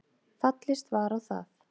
Fallist var á það